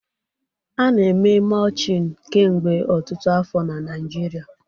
A na-eme Mulching kemgbe ọtụtụ afọ na Nigeria